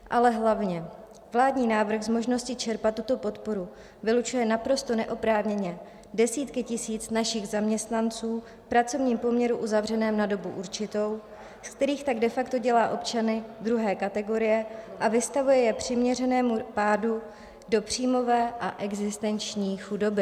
Ale hlavně - vládní návrh z možnosti čerpat tuto podporu vylučuje naprosto neoprávněně desítky tisíc našich zaměstnanců v pracovním poměru uzavřeném na dobu určitou, z kterých tak de facto dělá občany druhé kategorie a vystavuje je přiměřenému (?) pádu do příjmové a existenční chudoby.